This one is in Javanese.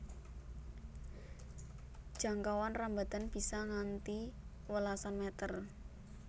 Jangkauan rambatan bisa nganti welasan meter